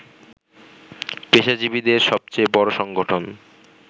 পেশাজীবীদের সবচেয়ে বড় সংগঠন